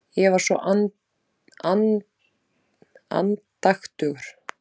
Ég var svo andaktugur.